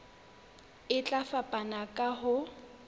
e tla fapana ka ho